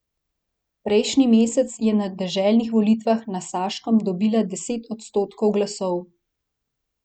Prejšnji mesec je na deželnih volitvah na Saškem dobila deset odstotkov glasov.